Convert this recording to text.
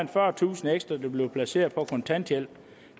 fyrretusind ekstra der bliver placeret på kontanthjælp